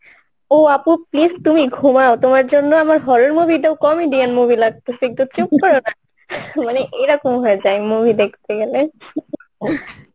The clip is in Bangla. ও আপু please তুমি ঘুমাও তোমার জন্য আমার horror movie কম ই movie লাগতাসে, একটু চুপ করো না মানে এরকম হয়ে যায় movie দেখতে গেলে